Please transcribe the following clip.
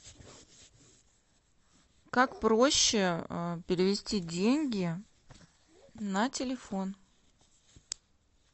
как проще перевести деньги на телефон